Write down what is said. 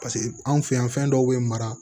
Paseke anw fɛ yan fɛn dɔw bɛ mara